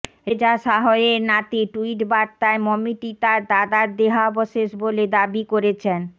Reza Shah এর নাতি tweet বার্তায় মমিটি তাঁর দাদার দেহাবশেষ বলে দাবি করেছেন